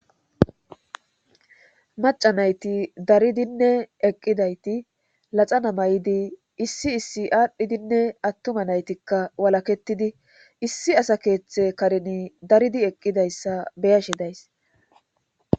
Maca nayti daridinne eqqidayti laxana may7idi issi issi aadhdhidinne attuma naytikka walaketidi issi asa keeththe karin daridi eqqidayssa beyashe days